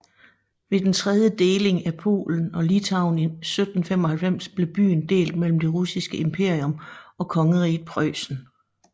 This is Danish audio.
Ved den tredje deling af Polen og Litauen i 1795 blev byen delt mellem det russiske imperium og Kongeriget Preussen